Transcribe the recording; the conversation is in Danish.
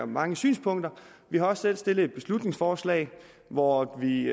mange synspunkter vi har også selv fremsat et beslutningsforslag hvor vi